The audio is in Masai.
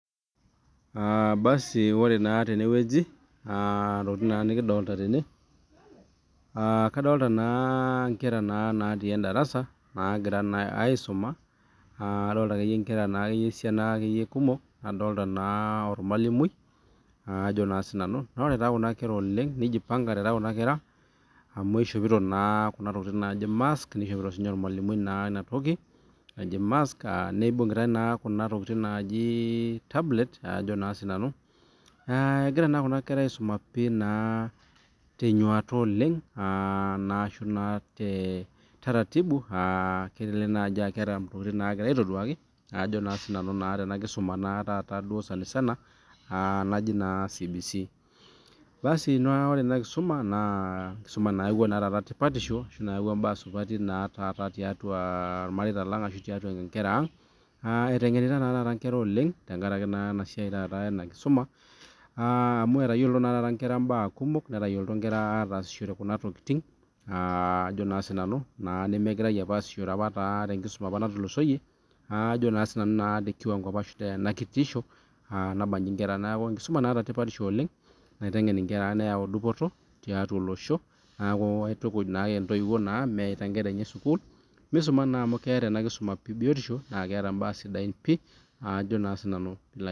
Aa basi ore naa tene wueji aa intokitin naa nekidolta tene aa kadonta naa inkera natii endarasa naagira naa aisuma aa adolta akeyie inkera naa akeyie esiana akeyie kumok, nadolta naa ormalimui aa ajo naa sinanu. Naa ore taa kuna kera oleng' nijipang'ate kuna kera amu ishopito naa kuna tokitin naaji mask, nishopito naa siinye ormalimui naa ina toki naji mask aa nibung'itai naa kuna tokitin naaji tablet ajo naa sinanu. Aa egira naa kuna kera aisuma pii naa te nyuata oleng' aa naa ashu naa te taratibu aa kelelek naaji aa keeta intokitin naagira aitoduaki ajo naa sinanu naa tena kisuma taata duo sanisana aa naji naa CBC. Basi naa ore ena kisuma naa enkisuma nayauwa naa taata tipatisho ashu nayawua imbaa supati naa taata tiatua irmareita lang' ashu tiatua inkera aang', aa eteng'enita naa taata inkera oleng' tenkaraki naa ena siai taata ena kisuma aa amu etayiolito naa taata inkera imbaa kumok, netayiolito inkera aatasishore kuna tokitin aa ajo naa sinanu naa nemegirai apa aasishore apa taa tenkisuma apa natulusoyie, aa ajo naa sinanu naa te kiwang'o apa ashu tena kitisho aa naba nchi inkera. Neeku enkisuma naata tipatishu oleng' naiteng'en inkera neyau dupoto tiatua olosho, neeku aitukuj naake intoiwou naa mewaita inkera enye sukuul misuma naa amu keeta ena kisuma pii biotishu, naake eeta imbaa sidain pii ajo naa sinanu piilo ay...